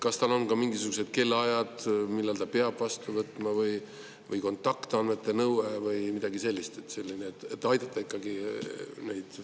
Ja kas on ka mingisugused kellaajad, millal ta peab vastu võtma, või kontaktandmete nõue või midagi sellist, et ikkagi kliente aidata?